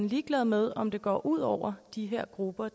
ligeglad med om det går ud over de her grupper